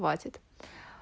хватит